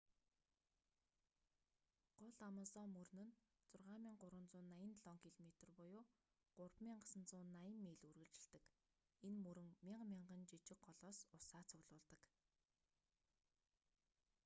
гол амазон мөрөл нь 6,387 км 3,980 миль үргэлжилдэг. энэ мөрөн мянга мянган жиижг голоос усаа цуглуулдаг